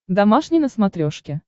домашний на смотрешке